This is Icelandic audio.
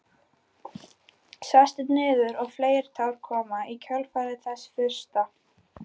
Sest niður og fleiri tár koma í kjölfar þess fyrsta.